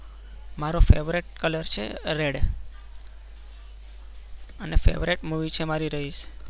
મારો favourite colour છે રે red અને Favourite Movie છે રઈસ